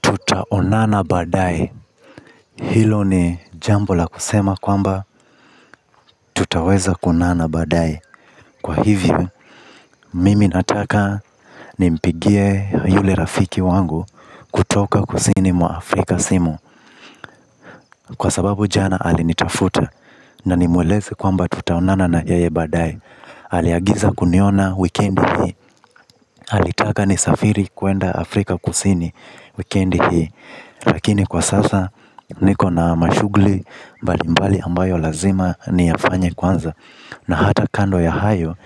Tutaonana baadaye. Hilo ni jambo la kusema kwamba tutaweza kuonana baadaye. Kwa hivyo, mimi nataka nimpigie yule rafiki wangu kutoka kusini mwa Afrika simu. Kwa sababu jana alinitafuta na nimweleze kwamba tutaonana na yeye baadaye. Aliagiza kuniona wikendi hii alitaka nisafiri kwenda Afrika Kusini wikendi hii lakini kwa sasa niko na mashughuli mbalimbali ambayo lazima niyafanye kwanza na hata kando ya hayo.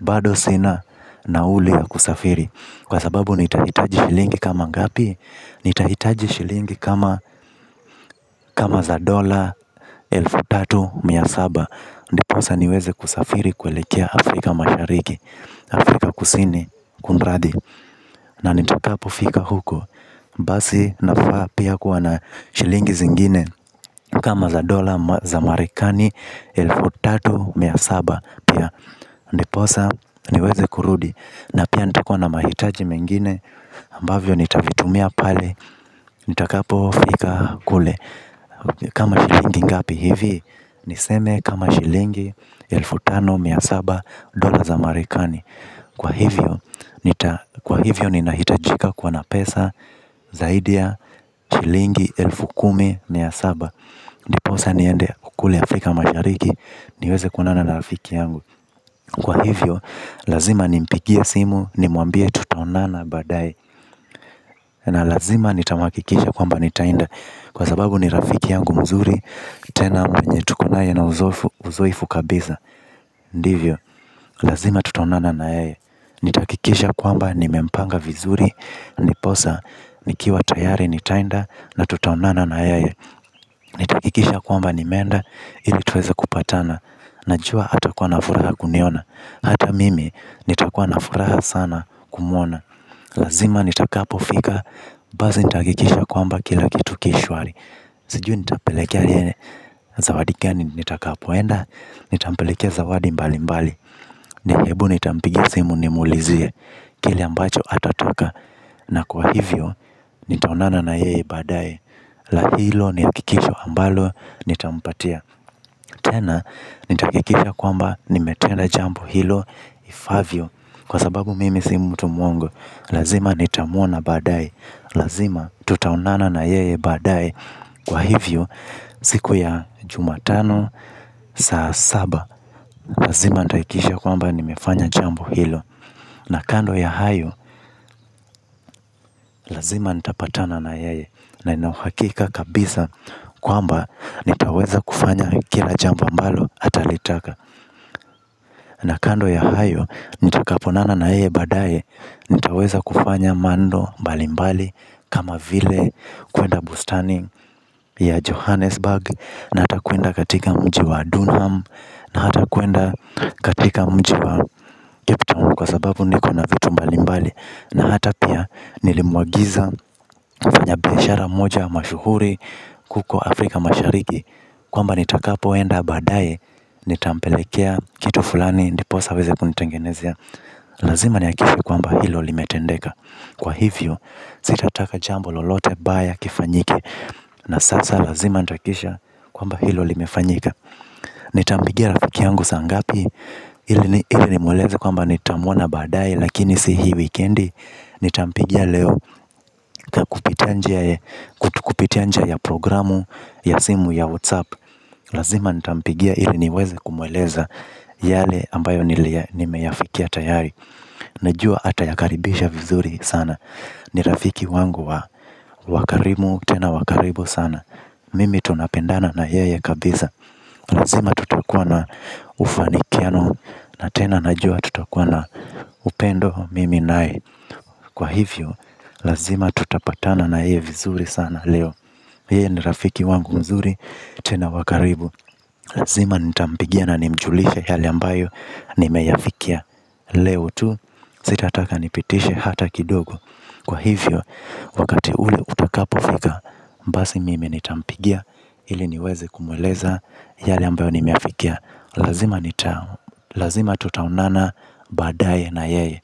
Bado sina nauli ya kusafiri kwa sababu nitahitaji shilingi kama ngapi. Nitahitaji shilingi kama za dola elfu tatu mia saba ndiposa niweze kusafiri kuelekea Afrika Mashariki Afrika Kusini kunradhi na nitakapofika huko. Basi nafaa pia kuwa na shilingi zingine. Kama za dola za marekani elfu tatu mia saba pia ndiposa niweze kurudi na pia nitakuwa na mahitaji mengine ambavyo nitavitumia pale nitakapofika kule. Kama shilingi ngapi hivi. Niseme kama shilingi elfu tano mia saba dola za marekani kwa hivyo kwa hivyo, ninahitajika kuwa na pesa zaidi ya shilingi elfu kumi mia saba ndiposa niende kule Afrika Mashariki niweze kuonana na rafiki yangu kwa hivyo lazima nimpigie simu nimwambie tutaonana baadaye. Na lazima nitamuhakisha kwamba nitaenda kwa sababu ni rafiki yangu mzuri tena mwenye tuko naye na uzoefu kabisa. Ndivyo lazima tutaonana na yeye nitahakikisha kwamba nimempanga vizuri ndiposa nikiwa tayari nitaenda na tutaonana na yeye nitahakikisha kwamba nimeenda ili tuweze kupatana. Najua atakuwa na furaha kuniona hata mimi nitakuwa na furaha sana kumwona. Lazima nitakapofika basi nitahakikisha kwamba kila kitu ki shwari. Sijui nitampelekea nini, zawadi gani nitakapoenda nitampelekea zawadi mbalimbali. Hebu nitampigia simu nimuulizie kile ambacho atataka. Na kwa hivyo nitaonana na yeye baadaye. Na hilo ni hakikisho ambalo nitampatia tena nitahakikisha kwamba nimetenda jambo hilo ifaavyo kwa sababu mimi si mtu mwongo lazima nitamuona baadaye lazima tutaonana na yeye baadaye kwa hivyo. Siku ya jumatano saa saba lazima nitahakikisha kwamba nimefanya jambo hilo na kando ya hayo, lazima nitapatana na yeye na nina uhakika kabisa kwamba nitaweza kufanya kila jambo ambalo atalitaka. Na kando ya hayo, nitakapoonana na yeye baadaye. Nitaweza kufanya mambo mbalimbali kama vile kwenda bustani ya Johannesburg na hata kwenda katika mji wa Dunham na hata kwenda katika mji wa Cape Town kwa sababu niko na vitu mbalimbali na hata pia nilimuagiza mfanya biashara mmoja mashuhuri huko Afrika Mashariki Kwamba nitakapoenda baadaye nitampelekea kitu fulani ndiposa aweze kunitengenezea. Lazima nihakikishe kwamba hilo limetendeka kwa hivyo sitataka jambo lolote baya kifanyike. Na sasa lazima nitahakikisha kwamba hilo limefanyika. Nitampigia rafiki yangu saa ngapi ili nimweleze kwamba nitamwona baadaye lakini si hii wikendi. Nitampigia leo kupitia njia ya programu ya simu ya whatsapp. Lazima nitampigia ili niweze kumweleza yale ambayo nimeyafikia tayari. Najua atayakaribisha vizuri sana. Ni rafiki wangu wa karimu tena wa karibu sana. Mimi tunapendana na yeye kabisa. Lazima tutakuwa na ufanikiano na tena najua tutakuwa na upendo mimi naye kwa hivyo lazima tutapatana na yeye vizuri sana leo. Yeye ni rafiki wangu mzuri, tena wa karibu. Lazima nitampigia na nimjulishe yale ambayo nimeyafikia leo tu sitataka nipitishe hata kidogo kwa hivyo wakati ule utakapofika basi mimi nitampigia ili niweze kumweleza yale ambayo nimeyafikia lazima nita lazima tutaonana baadaye na yeye.